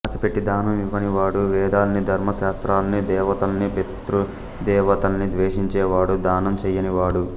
ఆశపెట్టి దానం ఇవ్వనివాడు వేదాల్నీ ధర్మ శాస్త్రాల్నీ దేవతల్నీ పితృదేవతల్నీ ద్వేషించేవాడు దానం చెయ్యనివాడు